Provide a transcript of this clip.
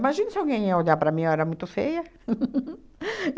Imagina se alguém ia olhar para mim, eu era muito feia.